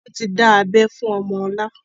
Wọn tí dá abẹ fún ọmọ ọlá